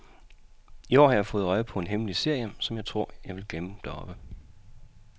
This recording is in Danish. I år har jeg fået øje på en herlig serie, som jeg tror, jeg vil glemme deroppe.